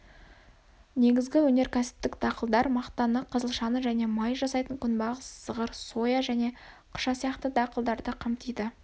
негізгі өнерксіптік дақылдар мақтаны қызылшаны және май жасайтын күнбағыс зығыр соя жне қыша сияқты дақылдарды қамтиды